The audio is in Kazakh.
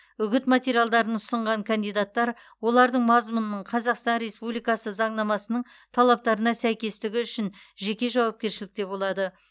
үгіт материалдарын ұсынған кандидаттар олардың мазмұнының қазақстан республикасы заңнамасының талаптарына сәйкестігі үшін жеке жауапкершілікте болады